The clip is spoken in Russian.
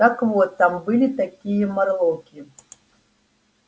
так вот там были такие морлоки